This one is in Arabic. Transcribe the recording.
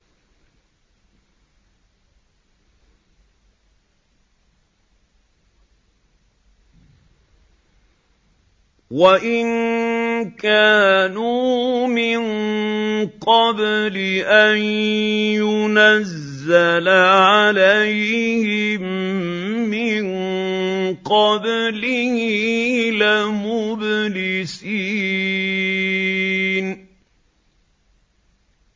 وَإِن كَانُوا مِن قَبْلِ أَن يُنَزَّلَ عَلَيْهِم مِّن قَبْلِهِ لَمُبْلِسِينَ